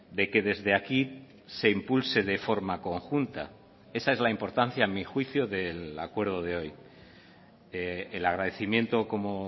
de que desde aquí se impulse de forma conjunta esa es la importancia a mi juicio del acuerdo de hoy el agradecimiento como